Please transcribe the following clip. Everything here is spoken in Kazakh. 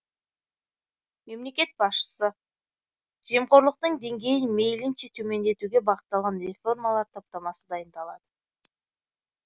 мемлекет басшысы жемқорлықтың деңгейін мейлінше төмендетуге бағытталған реформалар топтамасы дайындалады